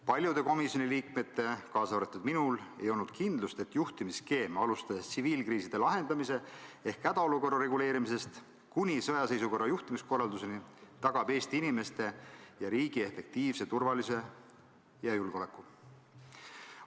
Paljudel komisjoni liikmetel, kaasa arvatud minul, ei olnud kindlust, et juhtimisskeem, alustades tsiviilkriiside lahendamisest ehk hädaolukorra reguleerimisest kuni sõjaseisukorra juhtimiskorralduseni, tagab Eesti inimeste ja riigi efektiivsuse, turvalisuse ja julgeoleku.